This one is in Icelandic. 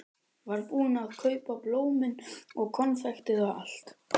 Var búinn að kaupa blómin og konfektið og allt.